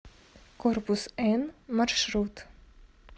корпус н маршрут